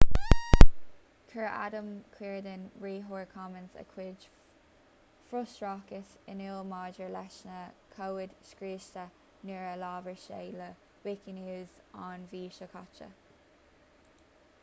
chuir adam cuerden riarthóir commons a chuid frustrachais in iúl maidir leis na comhaid scriosta nuair a labhair sé le wikinews an mhí seo caite